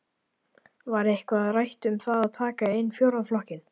Var eitthvað rætt um það að taka inn fjórða flokkinn?